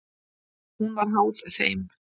Hún var háð þeim.